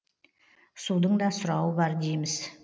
судың да сұрауы бар дейміз